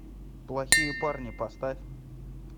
плохие парни поставь